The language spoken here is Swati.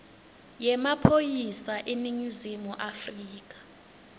yemaphoyisa eningizimu afrika